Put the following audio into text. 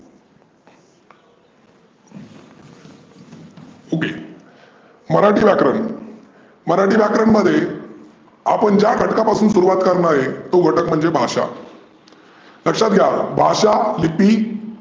पुढे, मराठी व्याकरण. मराठी व्याकरणमध्ये आपण ज्या घटकापासून सुरवात करणार आहे तो घटक म्हणजे भाषा. लक्षात घ्या भाषा लिपी